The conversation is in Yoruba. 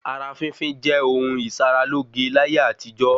Ara fínfín jẹ́ ohun ìsara lóge láyé àtijọ́